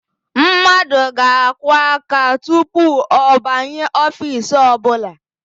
Mmadụ ga-akụ aka tupu ọ banye ofiisi ọbụla.